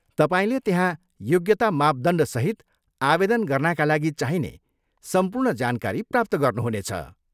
तपाईँले त्यहाँ योग्यता मापदण्डसहित आवेदन गर्नाका लागि चाहिने सम्पूर्ण जानकारी प्राप्त गर्नुुहुने छ।